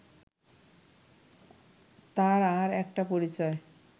তার আর একটা পরিচয়